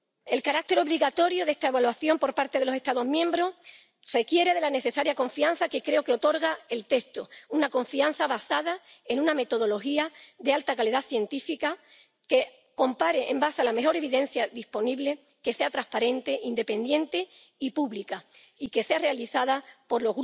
El carácter obligatorio de esta evaluación por parte de los Estados miembros requiere de la necesaria confianza que creo que otorga el texto, una confianza basada en una metodología de alta calidad científica que compare sobre la base de la mejor evidencia disponible, que sea transparente, independiente y pública, y que sea realizada por